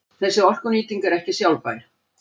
Þessi orkunýting er ekki sjálfbær.